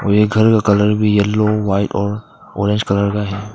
ये घर का कलर भी येलो व्हाइट और ऑरेंज कलर का है।